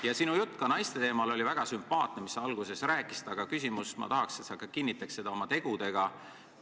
Ja sinu jutt naiste teemal, mida sa alguses rääkisid, oli väga sümpaatne, aga ma tahaks, et sa kinnitaks seda ka oma tegudega.